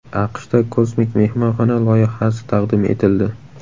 AQShda kosmik mehmonxona loyihasi taqdim etildi .